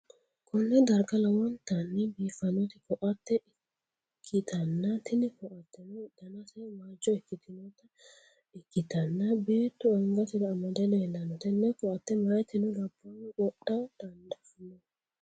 konne darga lowontanni biifanno ko'atte ikkitanna, tini ko'atteno danaseno waajjo ikkitinota ikkitanna, beettu angasi'ra amade leellanno, tenne ko'atte meyaatino labbahuno qodha dandaanno.